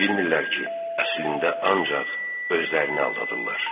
Bilmirlər ki, əslində ancaq özlərini aldadırlar.